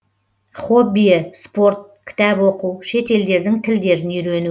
хоббиі спорт кітап оқу шет елдердің тілдерін үйрену